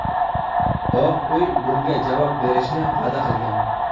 Oq uy bunga javob berishni va’da qilgan.